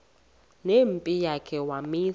nempi yakhe wamisa